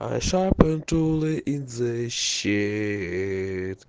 хорошо пойду ли из-за щи